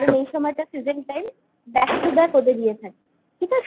কারণ এই সময়টা season time back to back ওদের ইয়ে থাকি ঠিক আছে?